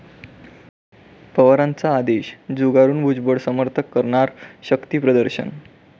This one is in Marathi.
पवारांचा आदेश झुगारून भुजबळ समर्थक करणार शक्तिप्रदर्शन?